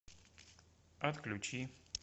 отключи